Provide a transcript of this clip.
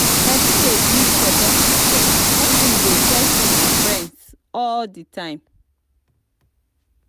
persin de build support system when im de check in on friends all di time